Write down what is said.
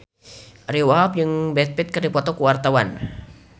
Ariyo Wahab jeung Brad Pitt keur dipoto ku wartawan